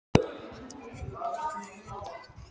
Það var enginn heima hjá Jóa þegar þeir komu þangað.